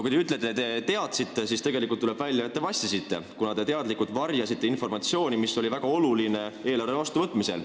Kui te ütlete, et te teadsite, siis tuleb välja, et te vassisite, kuna te teadlikult varjasite informatsiooni, mis oli väga oluline eelarve vastuvõtmisel.